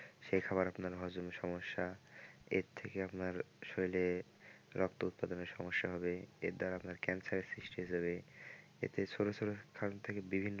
সে খাবার আপনার হজমের সমস্যা এর থেকে আপনার শরীরে রক্ত উৎপাদনের সমস্যা হবে এর দ্বারা আপনার cancer এর সৃষ্টি হয়ে যাবে এতে ছোট ছোট স্থান থেকে বিভিন্ন ।